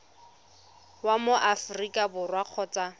wa mo aforika borwa kgotsa